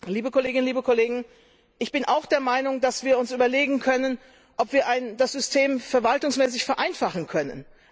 Liebe Kolleginnen, liebe Kollegen, ich bin auch der Meinung, dass wir uns überlegen können, ob wir das System verwaltungsmäßig vereinfachen können.